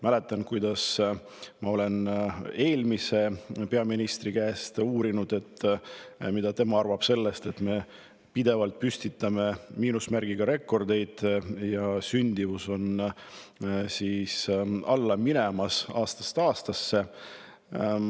Mäletan, kuidas ma eelmise peaministri käest uurisin, mida tema arvab sellest, et me pidevalt püstitame miinusmärgiga rekordeid ja sündimus langeb aastast aastasse.